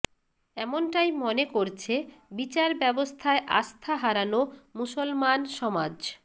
এমনটাই মনে করছে বিচার ব্যবস্থায় আস্থা হারানো মুসলমান সমাজ